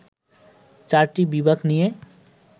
চারটি বিভাগ নিয়ে